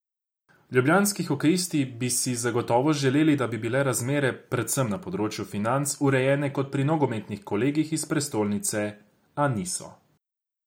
Ljubljanski hokejisti bi si zagotovo želeli, da bi bile razmere, predvsem na področju financ, urejene kot pri nogometnih kolegih iz prestolnice, a niso.